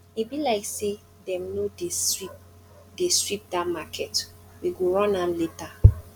e be like say dem no dey sweep dey sweep dat market we go run am later